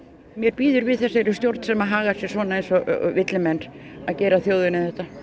mér býður við þessari stjórn sem hagar sér svona eins og villimenn að gera þjóðinni þetta